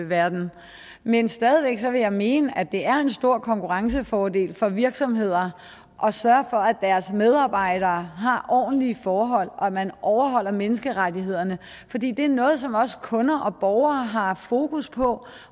verden men stadig væk vil jeg mene at det er en stor konkurrencefordel for virksomheder at sørge for at deres medarbejdere har ordentlige forhold og at man overholder menneskerettighederne fordi det er noget som også kunder og borgere har fokus på